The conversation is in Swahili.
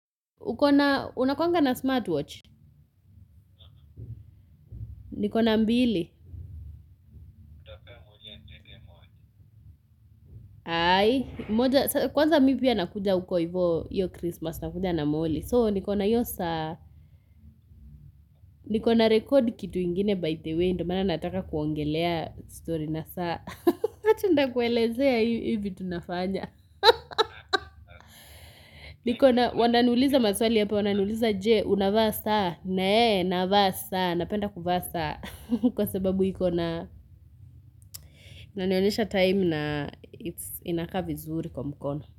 Ukona, unakuanga na smartwatch? Nikona mbili? Aai, moja, kwanza mi pia nakuja uko ivo, iyo Christmas, nakuja na moli. So, nikona iyo saa, nikona record kitu ingine by the way, ndo maana nataka kuongelea story na saa. But nutakuelezea hivi tunafanya. Niko na, wananiuliza maswali apa, wananiuliza je, unavaa saa? Ne, naavaa saa, napenda kuvaa saa. Kwa sababu hiko na, inanionyesha time na, it's inakaa vizuri. Kwa mkono.